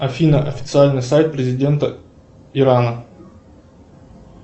афина официальный сайт президента ирана